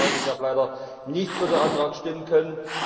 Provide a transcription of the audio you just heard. Ich muss sagen, ich habe leider nicht für den Antrag stimmen können.